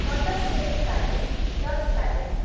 Mattancherry palace Dutch palace